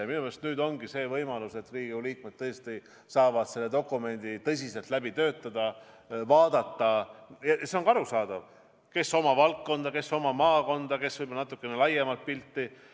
Ja minu meelest nüüd ongi see võimalus, et Riigikogu liikmed saavad selle dokumendi tõsiselt läbi töötada, vaadata – see on ka arusaadav soov – oma valdkonda või oma maakonda, võib-olla ka natuke laiemat pilti.